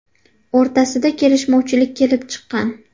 o‘rtasida kelishmovchilik kelib chiqqan.